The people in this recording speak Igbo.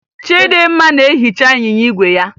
Chịdịmma na-ehicha ịnyịnya igwe ya